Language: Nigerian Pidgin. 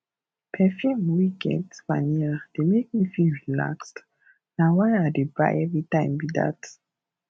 perfume wey get vanilla dey make me feel relaxed na why i dey buy everytime be dat